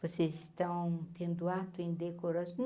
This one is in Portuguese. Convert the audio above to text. Vocês estão tendo ato indecoroso?